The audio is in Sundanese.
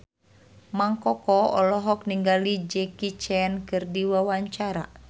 Mang Koko olohok ningali Jackie Chan keur diwawancara